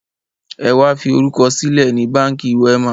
Ẹ wá fi orúkọ sílẹ̀ ni Báńkì Wema!